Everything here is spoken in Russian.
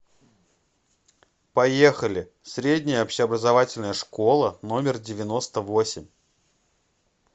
поехали средняя общеобразовательная школа номер девяносто восемь